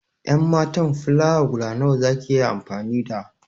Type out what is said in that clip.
En matan filawa guda nawa za ki yi amfani da?